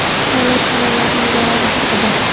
Chala choralarning zarari haqida.